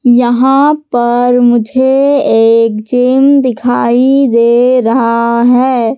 यहां पर मुझे एक जिम दिखाई दे रहा है।